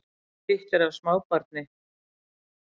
Hitt er af smábarni